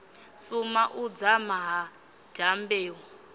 suma u dzama ha dyambeu